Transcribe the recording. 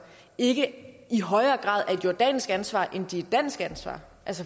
ikke i højere grad er et jordansk ansvar end de dansk ansvar